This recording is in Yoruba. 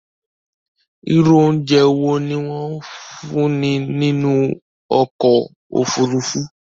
ìrù óùnjẹ wọ ní wón fún ní nínú okò òfurufú?